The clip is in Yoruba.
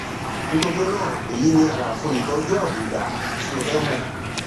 nítorí náà èyí ni àlàfo ìtọjú àbùdá tí o fẹ mọ